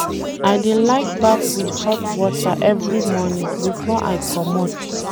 I dey like baff wit hot water every morning before I comot.